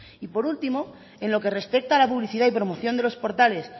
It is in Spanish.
y por último en lo que respecta a la publicidad y promoción de los portales